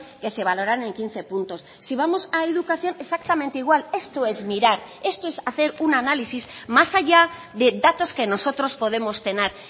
que se valoran en quince puntos si vamos a educación exactamente igual esto es mirar esto es hacer un análisis más allá de datos que nosotros podemos tener